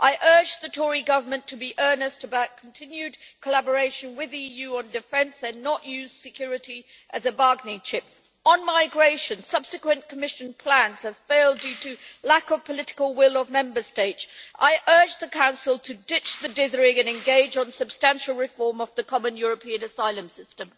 I urge the Tory government to be earnest about continued collaboration with the EU on defence, and not to use security as a bargaining chip. On migration, subsequent Commission plans have failed due to the lack of political will of Member States. I urge the Council to ditch the dithering and engage in substantial reform of the Common European Asylum System.